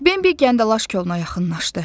Bembə kəndaş koluna yaxınlaşdı.